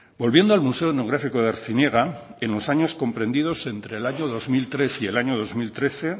volviendo al museo etnográfico de artziniega en los años comprendidos entre dos mil tres y el año dos mil trece